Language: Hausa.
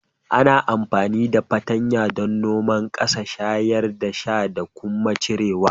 Ana amfani da fatanya don noman ƙasa, shayar da shi da kuma cire ciyawa